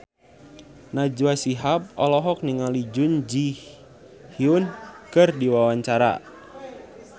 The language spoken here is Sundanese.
Najwa Shihab olohok ningali Jun Ji Hyun keur diwawancara